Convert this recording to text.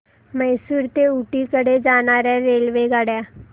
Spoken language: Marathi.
म्हैसूर ते ऊटी कडे जाणार्या रेल्वेगाड्या